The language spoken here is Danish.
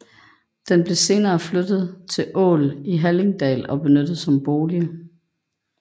Den blev senere flyttet til Ål i Hallingdal og benyttet som bolig